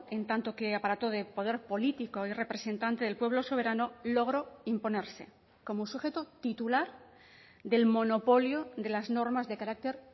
en tanto que aparato de poder político y representante del pueblo soberano logró imponerse como sujeto titular del monopolio de las normas de carácter